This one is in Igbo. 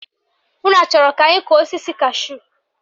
Unu achọrọ ka anyị kọọ osisi kashúù?